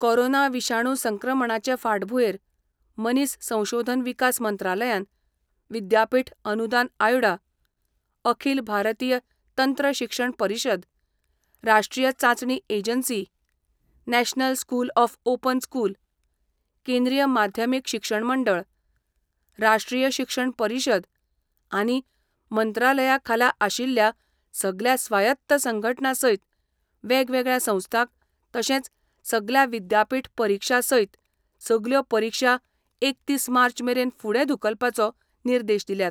Corona विशाणू संक्रमणाचे फाटभुंयेर मनीस संशोधन विकास मंत्रालयान विद्यापीठ अनुदान आयोडा, अखील भारतीय तंत्र शिक्षण परिशद, राष्ट्रीय चांचणी agency, national school of open school, केंद्रीय माध्यमीक शिक्षण मंडळ, राष्ट्रीय शिक्षण परिशद आनी मंत्रालया खाला आशिल्ल्या सगल्या स्वायत्त संघटणा सयत वेगवेगळ्या संस्थांक तशेंच सगल्या विद्यापीठ परिक्षा सयत सगल्यो परिक्षा एकतीस मार्च मेरेन फुडें धुकलपाचो निर्देश दिल्यात.